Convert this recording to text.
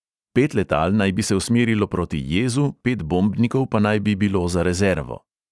Pet letal naj bi se usmerilo proti jezu, pet bombnikov pa naj bi bilo za rezervo.